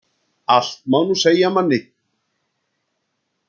Allt má nú segja manni.